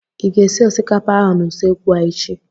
Ị ga-esi osikapa ahụ n'usekwu a echi?